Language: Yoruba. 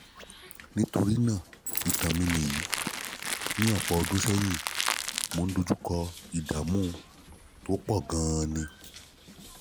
nítorí náà ìtàn mi nìyí: ní ọ̀pọ̀ ọdún sẹ́yìn mo dojú kọ ìdààmú tó pọ̀ gan-an